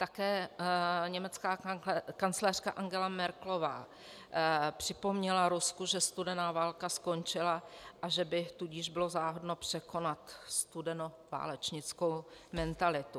Také německá kancléřka Angela Merkelová připomněla Rusku, že studená válka skončila, a že by tudíž bylo záhodno překonat studenoválečnickou mentalitu.